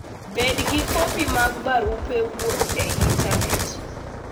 Bed gi kopi mag barupe wuoth e intanet.